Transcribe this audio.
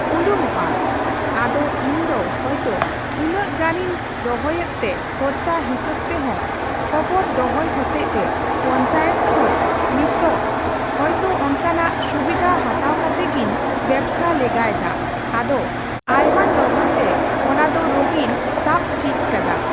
ᱩᱰᱩᱝᱚᱜᱼᱟ ᱾ ᱟᱫᱚ ᱤᱧᱫᱚ ᱦᱳᱭᱛᱳ ᱩᱱᱟᱹᱜ ᱜᱟᱱᱮᱧ ᱨᱚᱦᱚᱭ ᱮᱛ ᱛᱮ ᱠᱷᱚᱨᱪᱟᱹ ᱦᱤᱥᱟᱹᱵ ᱛᱮᱦᱚ ᱠᱷᱚᱵᱚᱨ ᱫᱚᱦᱚᱭ ᱦᱚᱛᱮᱡᱛᱮ ᱯᱚᱧᱪᱟᱭᱮᱛ ᱠᱷᱚᱡ ᱱᱛᱚᱜ ᱦᱳᱭᱛᱳ ᱚᱱᱠᱟᱱᱟᱜ ᱥᱩᱵᱤᱫᱷ ᱦᱟᱛᱟᱣ ᱠᱟᱛᱮ ᱜᱤᱧ ᱵᱮᱵᱥᱟ ᱞᱮᱜᱟᱭ ᱫᱟ ᱾ ᱟᱫᱚ ᱟᱭᱢᱟᱹᱧ ᱨᱚᱦᱚᱭ ᱛᱮ ᱚᱱᱟ ᱫᱚ ᱨᱳᱜᱤᱧ ᱥᱟᱵ ᱴᱷᱤᱠ ᱠᱟᱫᱟ ᱾